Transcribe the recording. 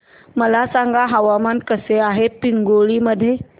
मला सांगा हवामान कसे आहे पिंगुळी मध्ये